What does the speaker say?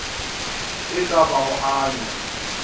e ka ba go anya